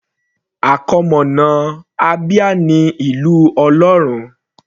Àkọmọ̀nà Abia ní Ìlú Ọlọ́run.